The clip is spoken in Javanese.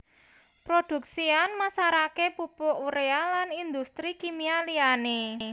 Produksi an masarake pupuk Urea lan industri kimia liyane